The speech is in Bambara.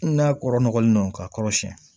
N'a kɔrɔ nɔgɔlen don k'a kɔrɔ siyɛn